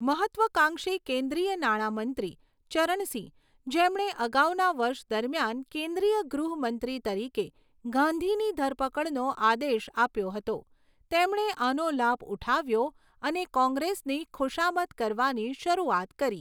મહત્ત્વાકાંક્ષી કેન્દ્રીય નાણાં મંત્રી, ચરણ સિંહ, જેમણે અગાઉના વર્ષ દરમિયાન કેન્દ્રીય ગૃહ મંત્રી તરીકે ગાંધીની ધરપકડનો આદેશ આપ્યો હતો, તેમણે આનો લાભ ઉઠાવ્યો અને કોંગ્રેસની ખુશામત કરવાની શરૂઆત કરી.